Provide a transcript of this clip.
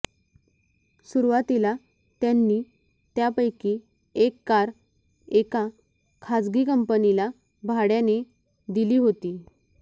सुरुवातीला त्यांनी त्यापैकी एक कार एका खाजगी कंपनीला भाड्याने दिली होती